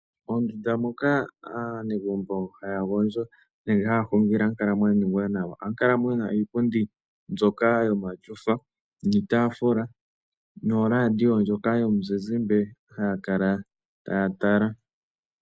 Ondunda moka aanegumbo haya gondjo ohamu kala muna iipundi, omatyofa noradio ndjoka yomuzizimbe haya kala taya tala.